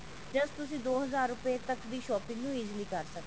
just ਤੁਸੀਂ ਦੋ ਹਜ਼ਾਰ ਰੁਪੇ ਤੱਕ ਦੀ shopping ਨੂੰ easily ਕਰ ਸਕਦੇ ਹੋ